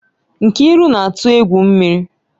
Nkiru na-atụ egwu mmiri